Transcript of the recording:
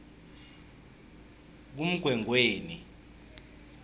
kumgwengweni